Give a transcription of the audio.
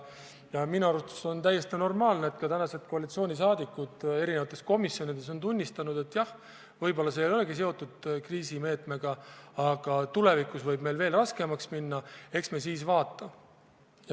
Koalitsioonisaadikud eri komisjonides on tunnistanud, et jah, võib-olla see ei olegi seotud kriisiga, aga tulevikus võib meil veel raskemaks minna, eks me siis vaata.